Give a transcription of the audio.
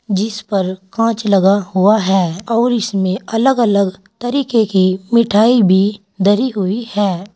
जिस पर कांच लगा हुआ है और इसमें अलग अलग तरीके की मिठाई भी धरी हुई है।